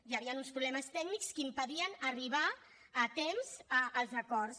hi havien uns problemes tècnics que impedien arribar a temps als acords